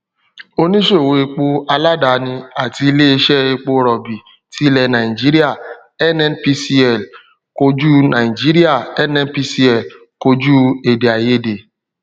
oníṣòwò epo aládàáni àti ilé iṣẹ epo rọbì tí ilẹ nàìjíríà nnpcl kojú nàìjíríà nnpcl kojú èdèaiyedè